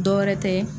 Dɔ wɛrɛ tɛ